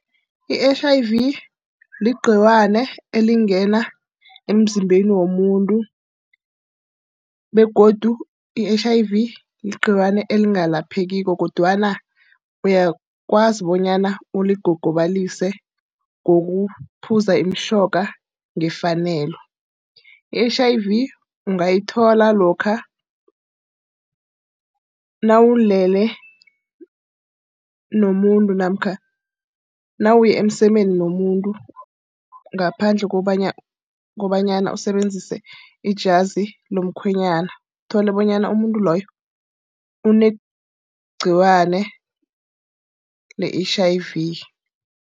I-H_I_V ligciwane elingena emzimbeni womuntu, begodu i-H_I_V ligciwane elingapheliko kodwana uyakwazi bonyana uligogobalise ngokuphuza imitjhoga ngefanelo. I-H_I_V ungayithola lokha nawulele nomuntu namkha nawuye emsemeni nomuntu ngaphandle kobanyana usebenzise ijazi lomkhwenyana, kutholakale bonyana umuntu loyo unegciwane le-H_I_V.